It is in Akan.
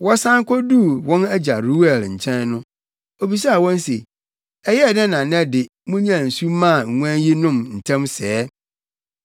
Wɔsan koduu wɔn agya Reuel + 2.18 Reuel yɛ Yetro din foforo. nkyɛn no, obisaa wɔn se, “Ɛyɛɛ dɛn na nnɛ de, munyaa nsu maa nguan yi nom ntɛm sɛɛ?”